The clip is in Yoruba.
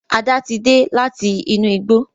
Ada tí dé láti inú igbó